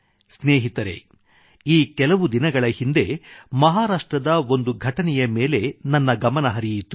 ಸ್ನೇಹಿತರೆ ಈ ಕೆಲವು ದಿನಗಳ ಹಿಂದೆ ಮಹಾರಾಷ್ಟ್ರದ ಒಂದು ಘಟನೆಯ ಮೇಲೆ ನನ್ನ ಗಮನ ಹರಿಯಿತು